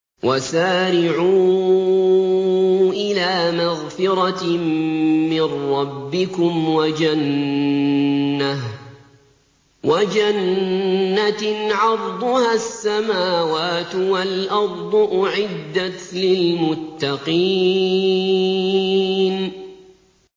۞ وَسَارِعُوا إِلَىٰ مَغْفِرَةٍ مِّن رَّبِّكُمْ وَجَنَّةٍ عَرْضُهَا السَّمَاوَاتُ وَالْأَرْضُ أُعِدَّتْ لِلْمُتَّقِينَ